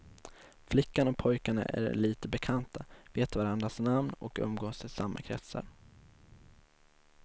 Flickan och pojkarna är lite bekanta, vet varandras namn och umgås i samma kretsar.